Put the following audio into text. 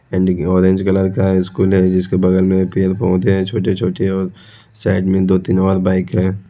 Orange colour का है school है इसके बगल मे पेड़ पौधे है छोटे छोटे और साइड मे दो तीन और बाइक है।